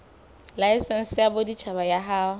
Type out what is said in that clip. laesense ya boditjhaba ya ho